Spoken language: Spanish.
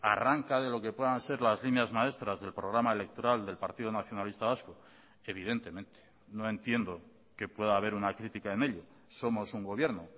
arranca de lo que puedan ser las líneas maestras del programa electoral del partido nacionalista vasco evidentemente no entiendo que pueda haber una crítica en ello somos un gobierno